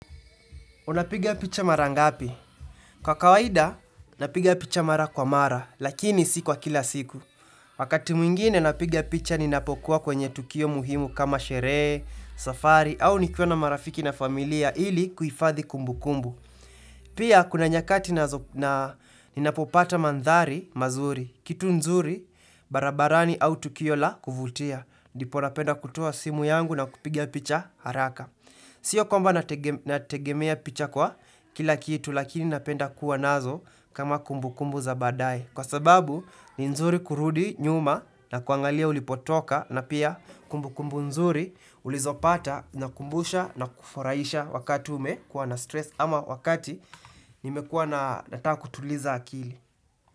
Unapigia picha mara ngapi? Kwa kawaida, napiga picha mara kwa mara, lakini siku wa kila siku. Wakati mwingine napigia picha ninapokuwa kwenye tukio muhimu kama sherehe, safari, au nikiona marafiki na familia ili kuifadhi kumbu kumbu. Pia, kuna nyakati ninapopata mandhari mazuri, kitu nzuri, barabarani au tukio la kuvutia. Ndipo napenda kutoa simu yangu na kupigia picha haraka. Siyo kwamba nategemea picha kwa kila kitu lakini napenda kuwa nazo kama kumbu kumbu za baadae Kwa sababu ni nzuri kurudi nyuma na kuangalia ulipotoka na pia kumbu kumbu nzuri ulizopata na kumbusha na kufuraisha wakati ume kuwa na stress ama wakati nimekua na nata kutuliza akili.